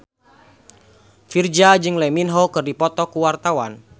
Virzha jeung Lee Min Ho keur dipoto ku wartawan